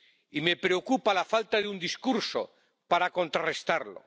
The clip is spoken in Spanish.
Y me preocupa la falta de un discurso para contrarrestarlo.